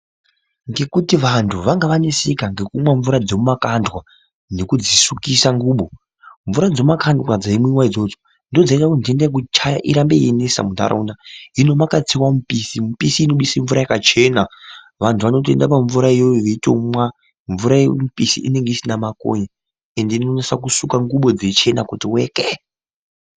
Ngekuti vantu vanga vaneseka ngekumwa mvura dzemumakandwa nedzikusukisa ngubo. Mvura dzemumakandwa dzaimwiwa idzodzo ndidzo dzaiita kuti nhenda yekuchaya irambe yeinesa mumanharaunda. Hino kwakatsiwa mupisi, mupisi unobudisa mvura yakachena. Vantu vanotoenda pamvura iyoyo veitomwa. Mvura yemupisi inenge isina makonye ende inonase kusuka ngubo dzeichena kuti wekee.